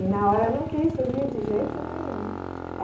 E na hora eu não quis subir de jeito nenhum.